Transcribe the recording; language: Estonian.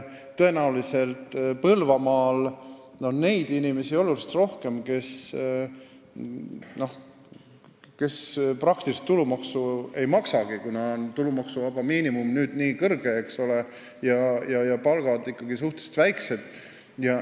Tõenäoliselt on Põlvamaal oluliselt rohkem neid inimesi, kes tulumaksu praktiliselt ei maksagi, kuna tulumaksuvaba miinimum on nüüd nii kõrge ja palgad ikkagi suhteliselt väiksed.